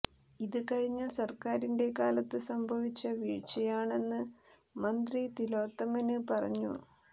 ഇത് കഴിഞ്ഞ സര്ക്കാരിന്റെ കാലത്ത് സംഭവിച്ച വീഴ്ചയാണെന്ന് മന്ത്രി തിലോത്തമന് പറഞ്ഞു